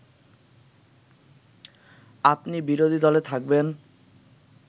আপনি বিরোধী দলে থাকবেন